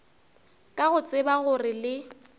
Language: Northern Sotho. ka go tseba gore le